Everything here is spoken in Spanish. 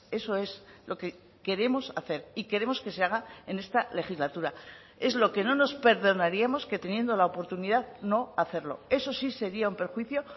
eso es lo que queremos hacer y queremos que se haga en esta legislatura es lo que no nos perdonaríamos que teniendo la oportunidad no hacerlo eso sí sería un perjuicio